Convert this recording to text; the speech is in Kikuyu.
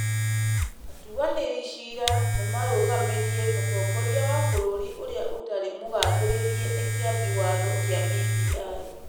Atuanĩri ciira nĩ marũgamirie Mũtongoria wa bũrũri ũrĩa ũtarĩ mũgathĩrĩria wa Kĩambi Watho kĩa BBI.